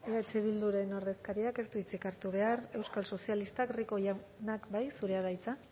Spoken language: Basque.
eh bilduren ordezkariak ez du hitzik hartu behar euskal sozialistak rico jauna bai zurea da hitza